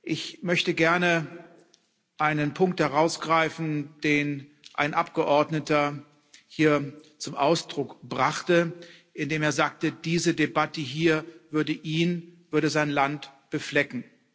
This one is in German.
Ich möchte gerne einen Punkt herausgreifen, den ein Abgeordneter hier zum Ausdruck brachte, indem er sagte, diese Debatte hier würde ihn, würde sein Land beflecken.